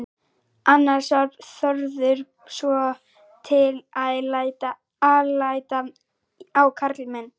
Annars var Þórður svotil alæta á karlmenn.